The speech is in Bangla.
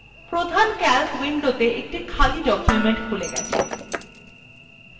প্রধান calc window একটি খালি document খুলে গেছে